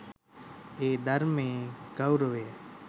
මේ ධර්මයේ ගෞරවය